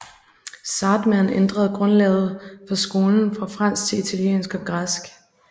Zahrtmann ændrede grundlaget for skolen fra fransk til italiensk og græsk